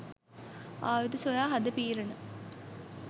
ආයුධ සොයා හඳ පීරන